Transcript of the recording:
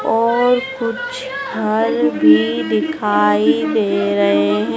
और कुछ घर भी दिखाई दे रहे हैं।